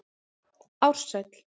Ársæll